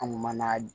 An man'a